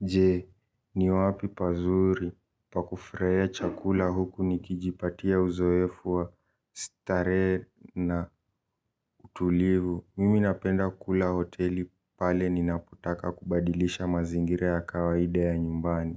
Je, ni wapi pazuri pa kufurahia chakula huku nikijipatia uzoefu wa starehe na utulivu. Mimi napenda kula hoteli pale ninapotaka kubadilisha mazingira ya kawaida ya nyumbani.